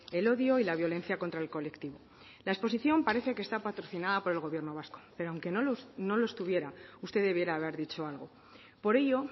el odio y la violencia contra el colectivo la exposición parece que está patrocinada por el gobierno vasco pero aunque no lo estuviera usted debiera haber dicho algo por ello